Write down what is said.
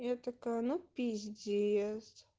я такая ну пиздец